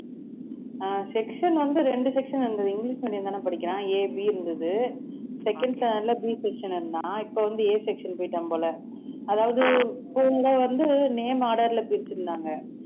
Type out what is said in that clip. ஆஹ் section வந்து ரெண்டு section இருந்தது english medium தானே படிக்கறான் AB இருந்தது second standard ல B section இருந்தான் இப்ப வந்து A section போயிட்டான் போல அதாவது இப்ப இங்க வந்து name order ல பிரிச்சிருந்தாங்க